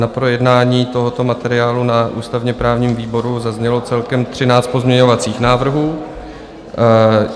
Na projednání tohoto materiálu na ústavně-právním výboru zaznělo celkem třináct pozměňovacích návrhů.